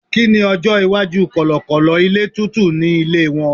kini ọjọ iwaju kọlọkọlọ ilé tútù ni ilé won